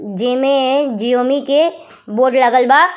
जेमे जिओनी के बोर्ड लागल बा।